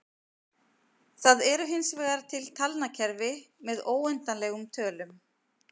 Það eru hinsvegar til talnakerfi með óendanlegum tölum.